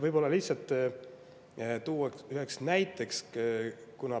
Toon lihtsalt ühe näite.